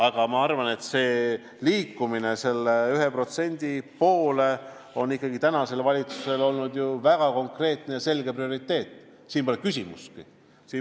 Aga ma arvan, et liikumine 1% poole on ikkagi olnud tänase valitsuse väga konkreetne ja selge prioriteet, siin pole küsimustki.